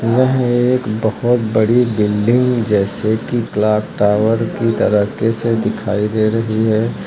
यह एक बहोत बड़ी बिल्डिंग जैसे कि क्लॉक टायर की तारीके से दिखाई दे रही है।